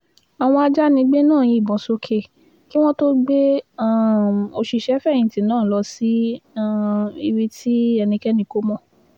àwọn ajànigbé náà yìnbọn sókè kí wọ́n tóó gbé um òṣìṣẹ́-fẹ̀yìntì náà lọ sí um ibi tí ẹnikẹ́ni kò mọ̀